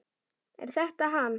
Er þetta hann?